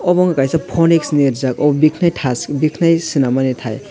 abo nogka kaisa phonix ni rijak o biknai tash biknai sinamtai.